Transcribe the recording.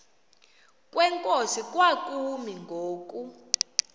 kwenkosi kwakumi ngoku